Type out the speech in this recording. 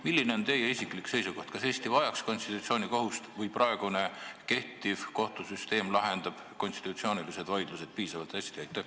Milline on teie isiklik seisukoht: kas Eesti vajaks konstitutsioonikohut või lahendab praegune kohtusüsteem konstitutsioonilised vaidlused piisavalt hästi?